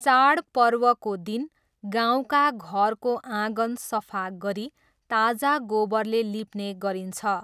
चाडपर्वको दिन गाउँका घरको आँगन सफा गरी ताजा गोबरले लिप्ने गरिन्छ।